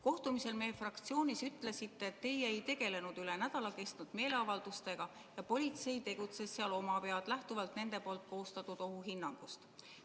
Kohtumisel meie fraktsioonis te ütlesite, et teie ei tegelenud üle nädala kestnud meeleavaldustega ja politsei tegutses seal omapead, lähtuvalt nende koostatud ohuhinnangust.